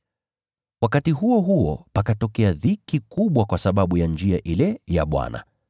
Wakati huo huo pakatokea dhiki kubwa kwa sababu ya Njia ile ya Bwana.